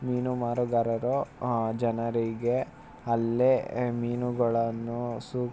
ಮೀನು ಮಾರಗಾರರ ಆಹ್ ಜನರಿಗೆ ಅಲ್ಲೆ ಮೀನುಗಳನ್ನು ಸೂಕ್ಷ್ಮ--